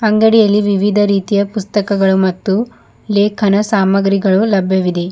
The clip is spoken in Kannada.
ಅಂಗಡಿಯಲ್ಲಿ ವಿವಿಧ ರೀತಿಯ ಪುಸ್ತಕಗಳು ಮತ್ತು ಲೇಖನಾ ಸಾಮಾಗ್ರಿಗಳು ಲಭ್ಯವಿದೆ.